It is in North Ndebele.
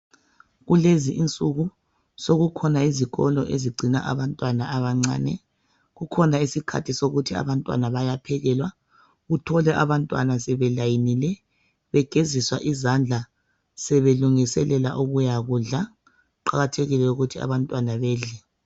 kulezi insuku sekukhona izikolo ezigcina abantwana abancane kukhona isikhathi sokuthi abantwana bayaphekelwa ,uthole abantwana sebe layinile begeziswa izandla sebelungiselela ukuya kudla ,kuqakathekile ukuthi abantwana bedle